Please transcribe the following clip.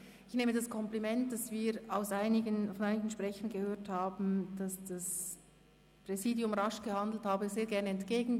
Ich nehme das Kompliment, das wir von einigen Sprechern gehört haben, wonach das Präsidium rasch gehandelt habe, sehr gerne entgegen.